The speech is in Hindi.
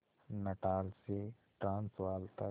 नटाल से ट्रांसवाल तक